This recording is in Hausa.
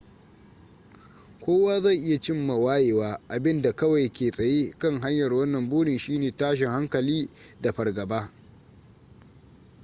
kowa zai iya cimma wayewa abinda kawai ke tsaye kan hanyar wannan burin shine tashin hankali da fargaba